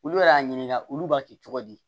Olu yɛrɛ y'a ɲininka olu b'a kɛ cogo di